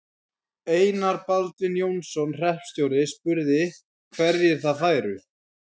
Einar Baldvin Jónsson hreppstjóri, spurði, hverjir þar færu.